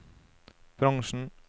bransjen